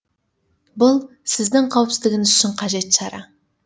бұл сіздің қауіпсіздігіңіз үшін қажет шара